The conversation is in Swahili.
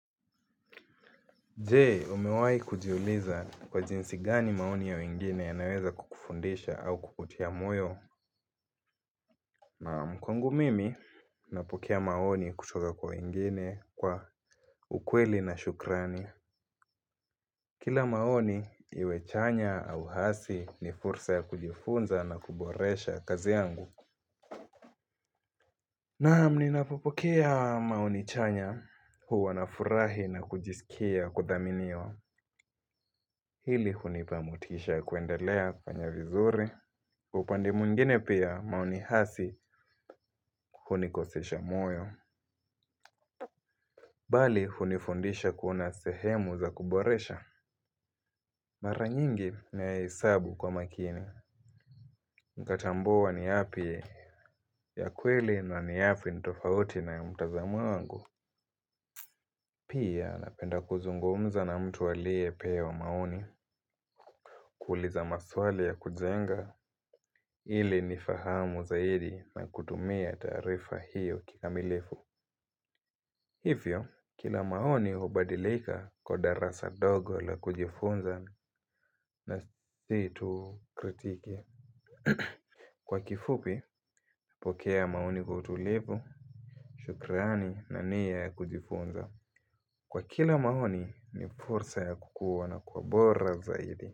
Je, umewai kujiuliza, kwa jinsi gani maoni ya wengine yanaweza kukufundisha au kukutia moyo? Naam, kwangu mimi, napokea maoni kutoka kwa wengine kwa ukweli na shukrani. Kila maoni, iwechanya au hasi, ni fursa ya kujifunza na kuboresha kazi yangu. Naam, ninapokea maoni chanya, huwa nafurahi na kujisikia kudhaminiwa. Hili, hunipamotisha kuendelea kufanya vizuri. Upande mwingine pia, maoni hasi hunikosesha moyo. Bali, hunifundisha kuona sehemu za kuboresha. Mara nyingi, na yahesabu kwa makini. Nikatambua ni yapi ya kweli na ni yapi nitofauti na ya mtazamo wangu. Pia napenda kuzungumza na mtu aliyepewa maoni. Kuuliza maswali ya kujenga ili nifahamu zaidi na kutumia taarifa hiyo kikamilifu. Hivyo, kila maoni hubadilika kwa darasa ndogo la kujifunza na siyo tu kritiki. Kwa kifupi, pokea maoni utulivu, shukrani na niya ya kujifunza. Kwa kila maoni, ni fursa ya kukua na kuwa bora zaidi.